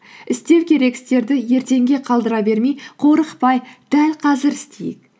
істеу керек істерді ертеңге қалдыра бермей қорықпай дәл қазір істейік